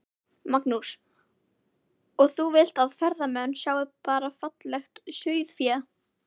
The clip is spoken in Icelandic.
Magnús: Og þú vilt að ferðamenn sjái bara fallegt sauðfé?